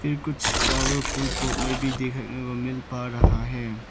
फिर कुछ फ्लावर फूल पॉट में भी देखने में मिल पा रहा है।